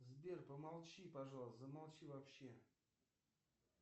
сбер помолчи пожалуйста замолчи вообще